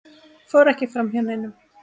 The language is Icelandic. fór ekki framhjá neinum.